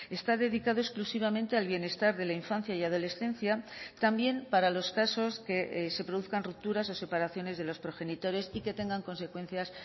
está dedicado exclusivamente al bienestar de la infancia y adolescencia también para los casos que se produzcan rupturas o separaciones de los progenitores y que tengan consecuencias